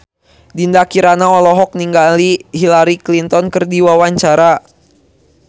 Dinda Kirana olohok ningali Hillary Clinton keur diwawancara